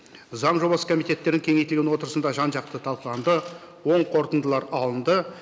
заң жобасы комитеттерін кеңейтілген отырысында жан жақты талқыланды оң қорытындылар алынды